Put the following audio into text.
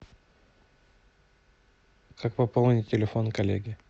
как пополнить телефон коллеги